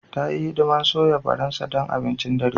Ta yi hidimar soya Faransa don abincin dare.